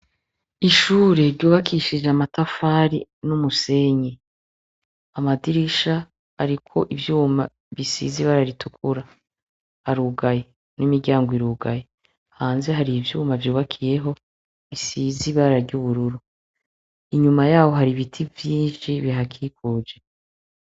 Ishure ryubakishije amatafari n'umusenyi. Amadirisha ariko ivyuma bisize ibara ritukura. Harugaye, n'imiryango irugaye. Hanze hari ivyuma vyubakiyeho bisize ibara ry'ubururu. Inyuma y'aho hari ibiti vyinshi bihakikuje.